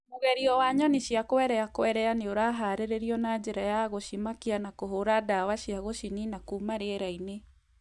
Mũgerio wa nyoni cia quelea quelea nĩ ũraharĩrĩrio na njĩra ya gũcimakia na kũhũũra ndawa cia gũcinina kuuma rĩera-inĩ.